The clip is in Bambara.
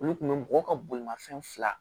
Olu kun bɛ mɔgɔw ka bolimafɛn fila